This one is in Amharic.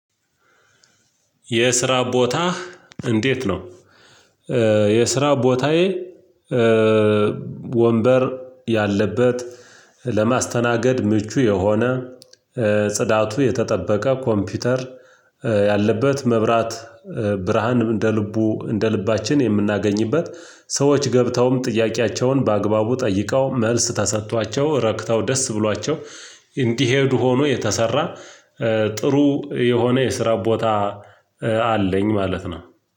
የስራ ቦታ እንዴት ነው? የስራ ቦታዬ። ወንበር ያለበት ለማስተናገድ ምቹ የሆነ ጽዳቱ የተጠበቀ ኮምፒውተር ያለበት መብራት ብርሃንም እንደ ልቡ እንደ ልባችን የምናገኝበት ሰዎች ገብተውም ጥያቄያቸውን በአግባቡ ጠይቀው መልስ ተሰጥቷቸው ረክታው ደስ ብሏቸው እንዲሄዱ ሆኖ የተሰራ። ጥሩ የሆነ የስራ ቦታ አለኝ ማለት ነው።